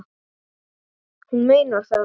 Hún meinar það.